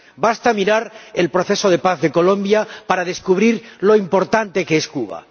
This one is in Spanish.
Basta mirar el proceso de paz en Colombia para descubrir lo importante que es Cuba.